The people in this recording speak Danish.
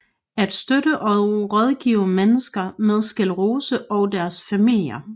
At støtte og rådgive mennesker med sclerose og deres familier